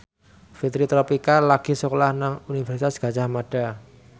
Fitri Tropika lagi sekolah nang Universitas Gadjah Mada